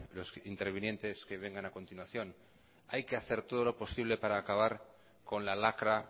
los que intervinientes que vengan a continuación hay que hacer todo lo posible para acabar con la lacra